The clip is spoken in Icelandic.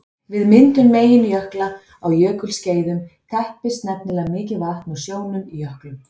Við myndun meginjökla á jökulskeiðum teppist nefnilega mikið vatn úr sjónum í jöklum.